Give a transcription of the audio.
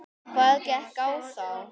Hvað gekk á þá?